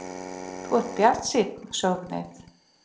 Þú ert bjartsýnn, sögðum við.